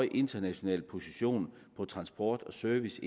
international position for transport og service